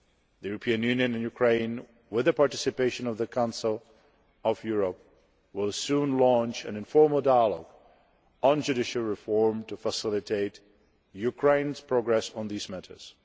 The European Union and Ukraine, with the participation of the Council of Europe, will soon launch an informal dialogue on judicial reform to facilitate Ukraine's progress on these matters.